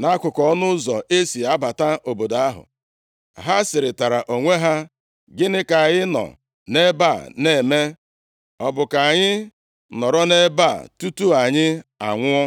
nʼakụkụ ọnụ ụzọ e si abata obodo ahụ. Ha sịrịtara onwe ha, “Gịnị ka anyị nọ nʼebe a na-eme? Ọ bụ ka anyị nọrọ nʼebe a tutu anyị anwụọ?